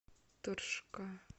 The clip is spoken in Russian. торжка